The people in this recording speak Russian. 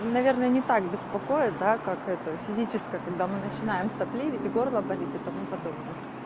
ну наверное не так беспокоит да как это физическое когда мы начинаем сопливить и горло болит и тому подобное